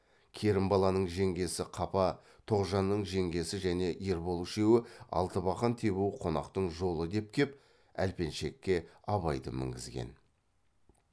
керімбаланың жеңгесі қапа тоғжанның жеңгесі және ербол үшеуі алтыбақан тебу қонақтың жолы деп кеп әлпеншекке абайды мінгізген